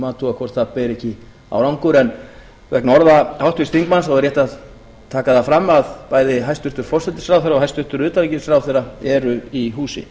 athuga hvort það ber ekki árangur vegna orða háttvirts þingmanns er rétt að taka það fram að bæði hæstvirtan forsætisráðherra og hæstvirtur utanríkisráðherra eru í húsi